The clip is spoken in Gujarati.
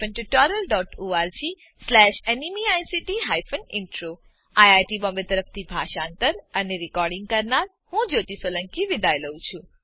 httpspoken tutorialorgNMEICT Intro IIT Bombay તરફથી હું જ્યોતી સોલંકી વિદાય લઉં છું